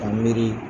Ka miiri